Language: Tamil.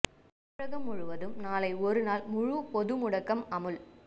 தமிழகம் முழுவதும் நாளை ஒரு நாள் முழு பொது முடக்கம் அமுல்